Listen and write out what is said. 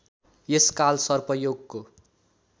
यस कालसर्प योगको